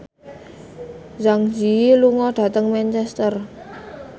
Zang Zi Yi lunga dhateng Manchester